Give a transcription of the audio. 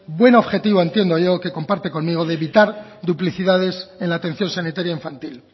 buen objetivo entiendo yo que comparte conmigo de evitar duplicidades en la atención sanitaria infantil